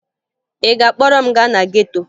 Ị ga-akpọrọ m gaa na geto?